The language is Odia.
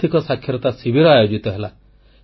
ଆର୍ଥିକ ସାକ୍ଷରତା ଶିବିର ଆୟୋଜିତ ହେଲା